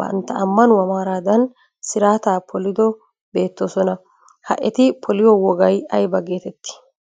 bantta ammanuwaa maaradan siraata polido bettoosona. Ha eti poliyo wogay ayba getettii?